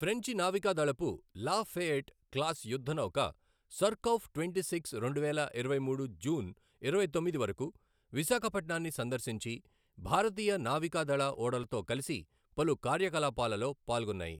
ఫ్రెంచి నావికాదళపు La Fayette class యుద్ధ నౌక సర్కౌఫ్ ట్వంటీ సిక్స్ రెండువేల ఇరవై మూడు జూన్ ఇరవై తొమ్మిది వరకు విశాఖపట్నాన్ని సందర్శించి, భారతీయ నావికాదళ ఓడలతో కలిసి పలు కార్యకలాపాలలో పాల్గొన్నాయి.